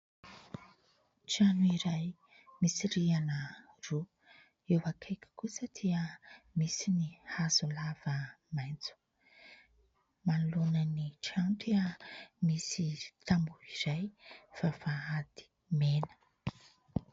Trano iray misy rihana roa. Eo akaiky koasa dia misy ny hazo lava maitso. Manoloana ny trano dia misy tamboho iray vavahady mena.